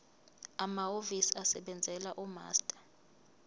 amahhovisi asebenzela umaster